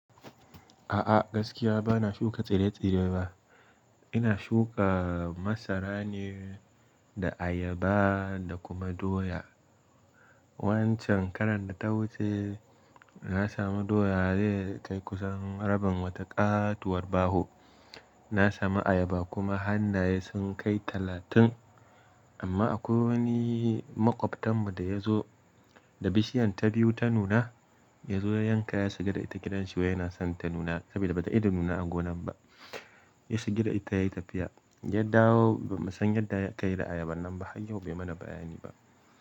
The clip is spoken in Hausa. A'a gaskiya bana shuka tsire-tsire ba. Ina shuka masara ne da ayaba da kuma doya. Wancan karan da ta wuce na samu doya zai kai kusan rabin wata ƙatuwar baho. Na samu ayaba kuma hannaye sun kai talatin, amma akwai wani maƙwabtanmu da ya zo da bishiyan ta biyu ta nuna, ya zo ya yanka ya shiga da ita gidanshi wa yana son ta nuna saboda bata ida nuna a gonan ba. Ya shiga da ita yayi tafiya. Ya dawo ba mu san yadda ya kai da ayaban nan ba har yau bai mana bayani ba.